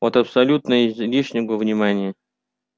от абсолютно излишнего внимания